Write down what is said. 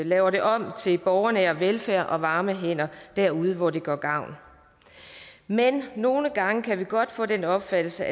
laver det om til borgernær velfærd og varme hænder derude hvor det gør gavn men nogle gange kan vi godt få den opfattelse